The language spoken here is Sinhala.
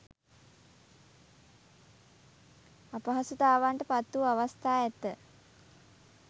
අපහසුතාවන්ට පත් වූ අවස්ථා ඇත.